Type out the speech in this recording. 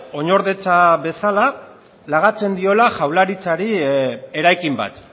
oinordetza bezala lagatzen diola jaurlaritzari eraikin bat